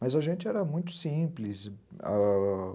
Mas a gente era muito simples.